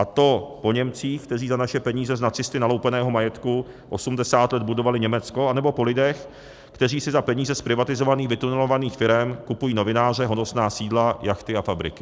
A to po Němcích, kteří za naše peníze z nacisty naloupeného majetku 80 let budovali Německo, anebo po lidech, kteří si za peníze z privatizovaných vytunelovaných firem kupují novináře, honosná sídla, jachty a fabriky.